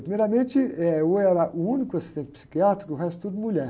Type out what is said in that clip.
Primeiramente, eh, eu era o único assistente psiquiátrico, que o resto tudo mulher.